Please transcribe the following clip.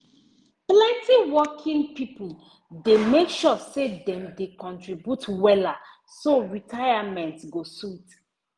plenty working people dey make sure say dem dey contribute wella so retirement go sweet